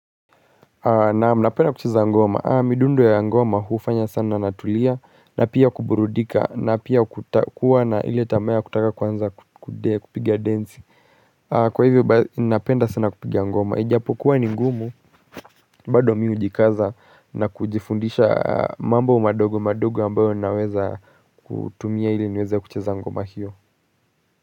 Naam napenda kucheza ngoma, midundu ya ngoma hufanya sana natulia na pia kuburudika na pia kuwa na ile tamaa ya kutaka kuanza kupigia densi. Kwa hivyo basi ninapenda sana kupiga ngoma ijapo kuwa ni ngumu. Bado mimi hujikaza na kujifundisha mambo madogo madogo ambayo ninaweza kutumia ili niweza kucheza ngoma hiyo.